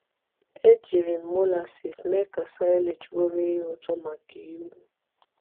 Ejiri m molasses mee ka silage bụrụ ihe ụtọ maka ewú.